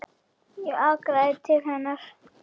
Ég arkaði til hennar.